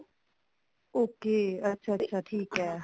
okay ਅੱਛਿਆ ਅੱਛਿਆ ਠੀਕ ਹੈ